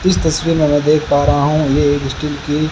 इस तस्वीर में मैं देख पा रहा हूं ये एक स्टील की--